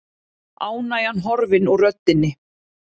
Ánægjan horfin úr röddinni.